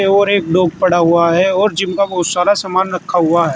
और एक डॉग पड़ा हुआ है और जिम का बहुत सारा समान रखा हुआ है।